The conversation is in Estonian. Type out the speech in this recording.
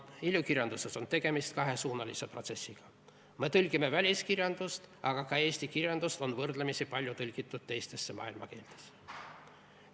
Ilukirjanduses on tegemist kahesuunalise protsessiga: me tõlgime väliskirjandust, aga ka eesti kirjandust on võrdlemisi palju tõlgitud teistesse maailma keeltesse.